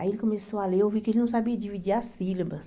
Aí ele começou a ler, eu vi que ele não sabia dividir as sílabas.